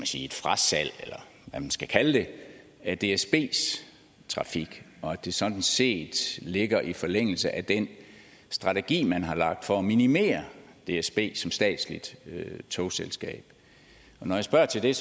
sige frasalg eller hvad man skal kalde det af dsbs trafik og at det sådan set ligger i forlængelse af den strategi man har lagt for at minimere dsb som statsligt togselskab når jeg spørger til det er